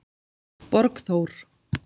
Borgþór